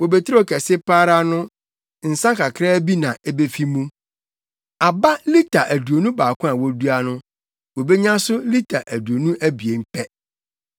Bobeturo kɛse pa ara no nsa kakraa bi na ebefi mu. Aba lita aduonu baako a wodua no wobenya so lita aduonu abien pɛ.”